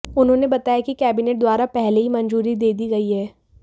उन्होंने बताया की कैबिनेट द्वारा पहले ही मंजूरी दे दी गई है